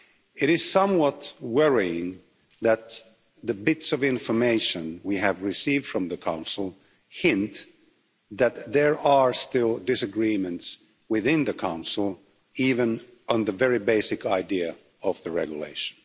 It is somewhat worrying that the bits of information we have received from the Council hint that there are still disagreements within the Council even on the very basic idea of the regulation.